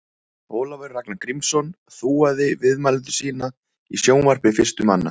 Ólafur Ragnar Grímsson þúaði viðmælendur sína í sjónvarpi fyrstur manna.